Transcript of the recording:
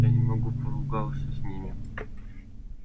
я немного поругался с ними